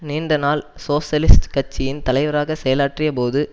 நீண்ட நாள் சோசியலிஸ்ட் கட்சியின் தலைவராக செயலாற்றியபோது